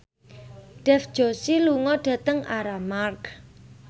Dev Joshi lunga dhateng Armargh